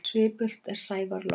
Svipult er sævar logn.